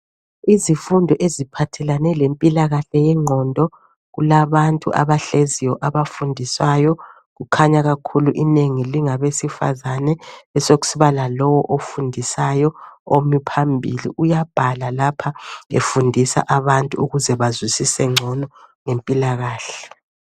Izifundo eziphathelane lempilakahle yengqondo. Kulabantu abahleziyo abafundiswayo kukhanya kakhulu inengi lingabesifazane kube sekusiba lalowu ofundisayo omi phambili uyabhala lapha efundisa abantu ukuze bazwisise ngcono ngempilakahle.